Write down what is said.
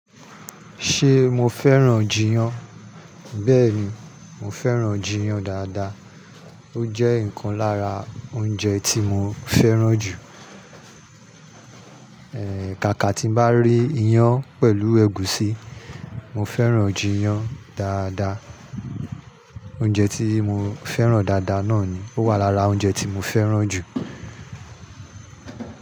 Ṣé mo fẹ́ràn jiyán? Bẹ́ẹ̀ni, mo fẹ́ràn jiyán dáadáa. Ó jẹ́ ọ̀kan lára oúnjẹ tí mo fẹ́ràn jù. Eeh, kàkà tí mo bá rí iyán pẹ̀lú ẹ̀gúsí, mo fẹ́ràn jiyán dáadáa. Oúnjẹ tí mo fẹ́ràn dáadáa náà ni, ó wà lára oúnjẹ tí mo fẹ́ràn jù.